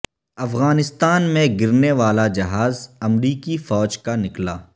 افغانستان میں گرنے والا جہاز امریکی فوج کا نکلا